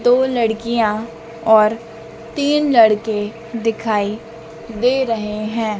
दो लड़कियां और तीन लड़के दिखाई दे रहे हैं।